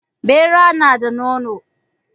Ɓera nada nono